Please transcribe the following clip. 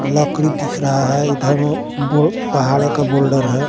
नकली दिख रहा है इधर में दो पहाड़ों के बोल्डर है।